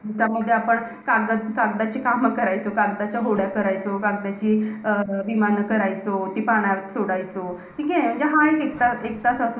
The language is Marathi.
त्यामध्ये आपण कागदाची~ कागदाची काम करायचो. अं कागदाची विमानं करायचो कागदाच्या होड्या करायचो. ती पाण्यात सोडायचो. ठीके. म्हणजे हा~ हि एकदा~ एकदा